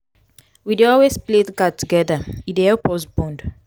we dey always play card togeda e dey help us bond.